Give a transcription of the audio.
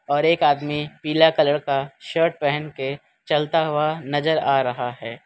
और एक आदमी पीला कलर का शर्ट पहन के चलता हुआ नजर आ रहा है।